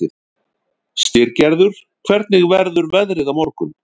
Styrgerður, hvernig verður veðrið á morgun?